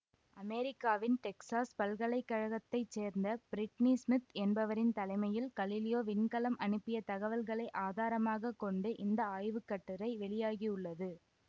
அமெரிக்காவின் டெக்சாஸ் பல்கலை கழகத்தை சேர்ந்த பிரிட்னி சிமித் என்பவரின் தலைமையில் கலிலியோ விண்கலம் அனுப்பிய தகவல்களை ஆதாரமாக கொண்டு இந்த ஆய்வு கட்டுரை வெளியாகியுள்ளது